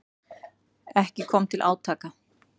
Ekki kom til átaka.